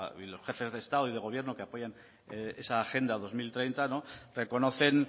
y los jefes de gobierno que apoyan esa agenda dos mil treinta reconocen